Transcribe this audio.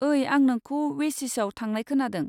ओई आं नोखौ वेसिसाव थांनाय खोनादों।